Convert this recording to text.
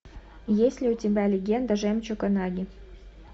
есть ли у тебя легенда жемчуга наги